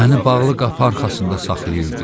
Məni bağlı qapı arxasında saxlayırdı.